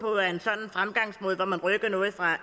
at man rykker noget fra